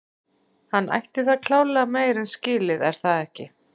Hann ætti það klárlega meira en skilið er það ekki?